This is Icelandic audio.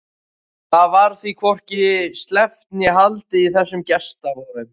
Það varð því hvorki sleppt né haldið í þessum gestaboðum.